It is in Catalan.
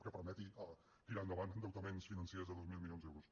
que permeti tirar endavant endeutaments financers de dos mil milions d’euros